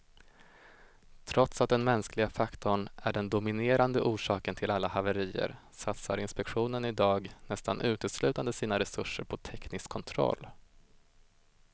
Trots att den mänskliga faktorn är den dominerande orsaken till alla haverier satsar inspektionen i dag nästan uteslutande sina resurser på teknisk kontroll.